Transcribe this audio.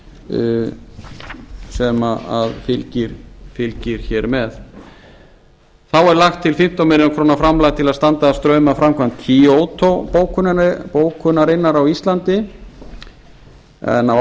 a sem fylgir með þá er lagt til fimmtán milljónir króna framlag til að standa straum af framkvæmd kyoto bókunarinnar á íslandi en á